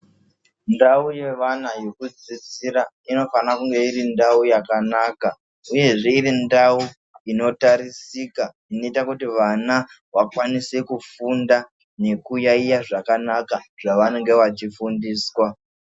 Ndau ye vana yeku dzidzira ino fana kunge iri ndau yakanaka uyezve iri ndau ino tarisika inoita kuti vana vakwanise ku funda neku yayiya zvakanaka zva vanenge vachi fundiswa.